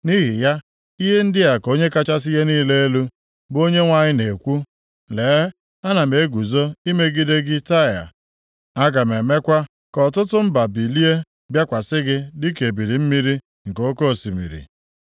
Nʼihi ya, ihe ndị a ka Onye kachasị ihe niile elu, bụ Onyenwe anyị na-ekwu: Lee, ana m eguzo imegide gị Taịa. Aga m emekwa ka ọtụtụ mba bilie bịakwasị gị dịka ebili mmiri nke oke osimiri.